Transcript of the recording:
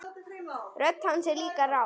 Rödd hans er líka rám.